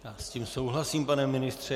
Já s tím souhlasím, pane ministře.